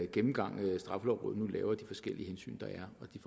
gennemgang straffelovrådet nu laver af de forskellige hensyn der er og de